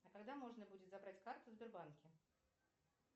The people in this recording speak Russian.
а когда можно будет забрать карту в сбербанке